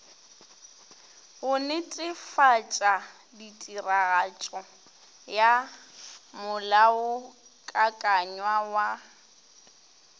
go netefatšatiragatšo ya molaokakanywa wa